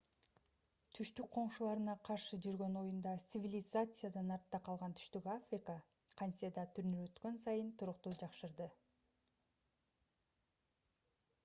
түштүк коңшуларына каршы жүргөн оюнда цивилизациядан артта калган түштүк африка кантесе да турнир өткөн сайын туруктуу жакшырды